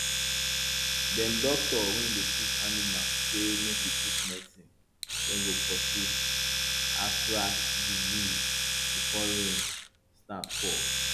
dem doctor wey dey treat animal say make we put medicine wey go pursue anthrax disease before rain start fall